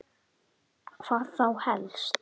Hödd: Hvað þá helst?